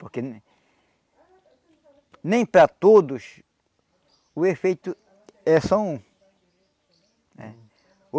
Porque... Nem para todos o efeito é só um. Eh